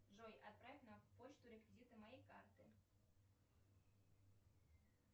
джой отправь на почту реквизиты моей карты